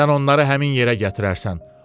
sən onları həmin yerə gətirərsən.